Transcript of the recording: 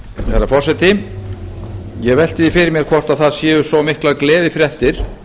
bara forseti ég velti því fyrir mér hvort það séu svo miklar gleðifréttir